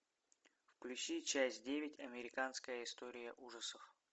включи часть девять американская история ужасов